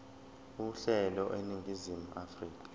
uhlelo eningizimu afrika